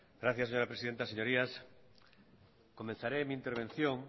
gracias señora presidenta señorías comenzaré mi intervención